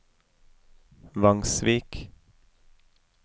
Vangsvik